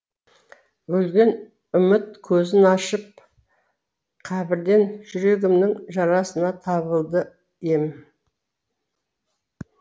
өлген үміт көзін ашып қабірден жүрегімнің жарасына табылды ем